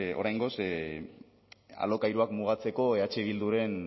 oraingoz alokairuak mugatzeko eh bilduren